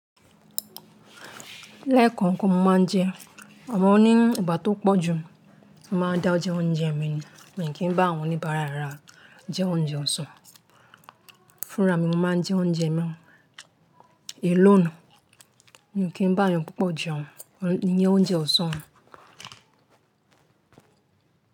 Lẹ́ẹ̀kan ko máa ń jẹ, àmọ́ oní ìgbà tó pọ̀ jù mo máa ń dá jẹ oúnjẹ mi ni, mi kì í bá àwọn oníbàárà ara jẹ oúnjẹ ọ̀sán. Fúnra mi mo máa ń jẹ oúnjẹ mi, alonù, mi ò kí n bá ẹnìyan púpọ̀ jẹun, iyẹn oúnjẹ ọ̀sán.